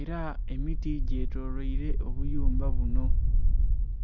era emiti gyetoloyire obuyumba buno